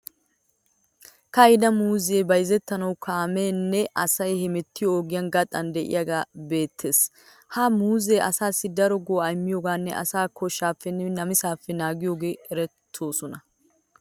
Ka'ida muuzzee bayizettanawu kaameenne asay hemettiyo ogiya gaxaan de'iyagee beettees. Ha muuzzee asaassi daro go'aa immiyogaaninne asaa koshaappenne namisaappe naagiyogan erettoosona.